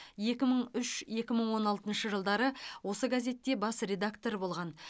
екі мың үш екі мың он алтыншы жылдары осы газетте бас редактор болған